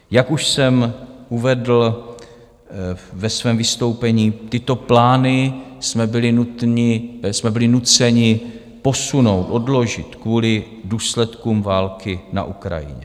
Jak už jsem uvedl ve svém vystoupení, tyto plány jsme byli nuceni posunout, odložit kvůli důsledkům války na Ukrajině.